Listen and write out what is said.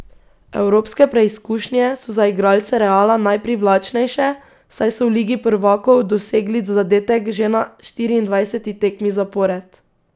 Evropske preizkušnje so za igralce Reala najprivlačnejše, saj so v ligi prvakov dosegli zadetek že na štiriindvajseti tekmi zapored.